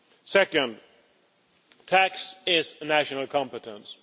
Second, tax is a national competence.